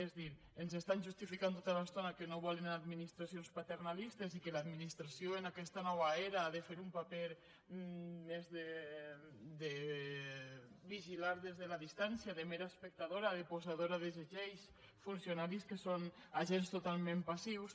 és a dir ens justifiquen tota l’estona que no volen administracions paternalistes i que l’administració en aquesta nova era ha de fer un paper més de vigilar des de la distància de mera espectadora de posadora de les lleis funcionaris que són agents totalment passius